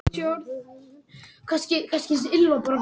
Hallbjörn